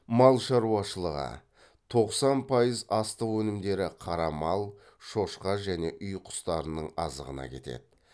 мал шаруашылығы тоқсан пайыз астық өнімдері қара мал шошқа және үй құстарының азығына кетеді